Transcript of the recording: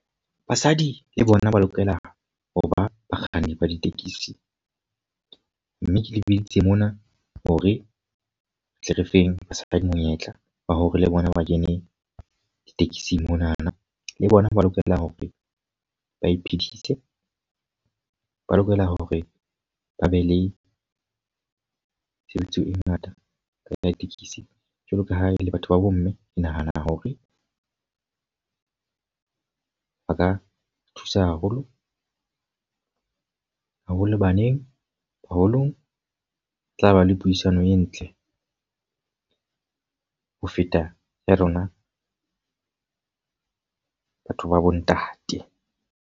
Basadi le bona ba lokela ho ba bakganni ba ditekesi. Mme ke le bitsitse mona hore re tle re feng basadi monyetla wa hore le bona ba kene ditekesing monana. Le bona ba lokela hore ba iphedise. Ba lokela hore ba be le tshebediso e ngata ka ya ditekesi. Jwalo ka ha e le batho ba bo mme, ke nahana hore ba ka thusa haholo. Haholo baneng, baholong tla ba le puisano e ntle ho feta ya rona batho ba bo ntate.